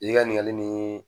I ka ɲininkali nin